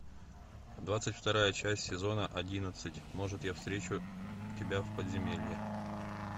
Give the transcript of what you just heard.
двадцать вторая часть сезона одиннадцать может я встречу тебя в подземелье